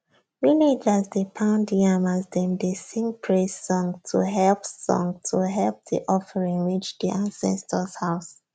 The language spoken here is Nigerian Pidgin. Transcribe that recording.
villagers dey pound yam as dem dey sing praise song to help song to help the offering reach the ancestors house